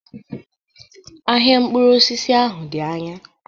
Ahịa mkpụrụ osisi ahụ dị anya.